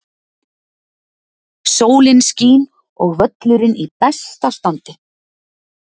Sólin skín og völlurinn í besta standi.